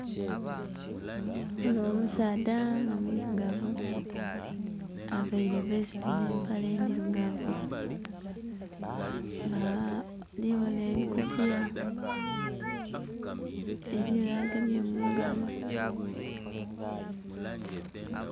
Ndhibonha omusaadha nga mwilugavu aveire vesiti nhe mpale endhilugavu nga ndhibonha ebikutiya eriyo agemye mungalo.